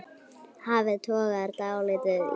Hafið togar dálítið í mig.